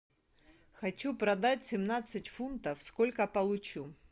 хочу продать семнадцать фунтов сколько получу